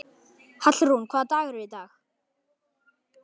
Hallrún, hvaða dagur er í dag?